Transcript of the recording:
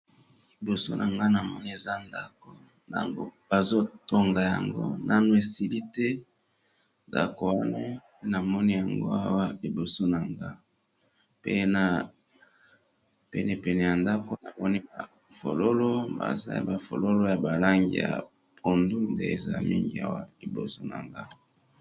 Liboso na nga na moni eza ndako bazo tonga yango nano esili te ndako wana namoni yango awa liboso na nga pe na pene pene ya ndako namoni ba fololo bazaya ba fololo ya ba langi ya pondu nde eza mingi awa liboso na nga.